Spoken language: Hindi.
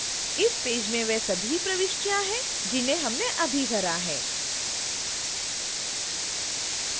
इस पेज में वे सभी प्रविष्टियां हैं जिन्हें हमने अभी भरा है